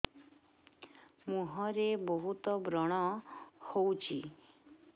ମୁଁହରେ ବହୁତ ବ୍ରଣ ହଉଛି